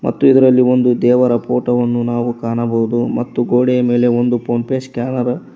ಮತ್ತು ಇದರಲ್ಲಿ ಒಂದು ದೇವರ ಫೋಟೋವನ್ನು ನಾವು ಕಾಣಬಹುದು ಮತ್ತು ಗೋಡೆಯ ಮೇಲೆ ಒಂದು ಫೋನ್ ಪೇ ಸ್ಕ್ಯಾನರ್ --